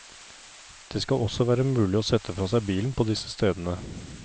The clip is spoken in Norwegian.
Det skal også være mulig å sette fra seg bilen på disse stedene.